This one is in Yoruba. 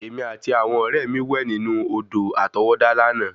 Èmi àti àwọn ọ̀rẹ́ mi wẹ̀ nínú Odò àtọwọ́dá lànà